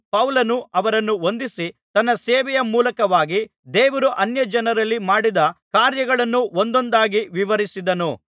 ಪೌಲನು ಅವರನ್ನು ವಂದಿಸಿ ತನ್ನ ಸೇವೆಯ ಮೂಲಕವಾಗಿ ದೇವರು ಅನ್ಯಜನರಲ್ಲಿ ಮಾಡಿದ ಕಾರ್ಯಗಳನ್ನು ಒಂದೊಂದಾಗಿ ವಿವರಿಸಿದನು